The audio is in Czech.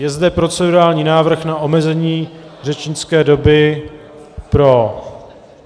Je zde procedurální návrh na omezení řečnické doby pro...